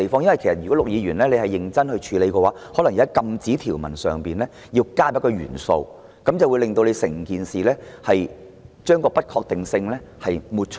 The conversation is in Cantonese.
如果陸議員要認真處理，可能要在禁止條文增加一個元素，以抹除有關的不確定性。